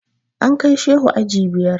An kai Shehu aji biyar.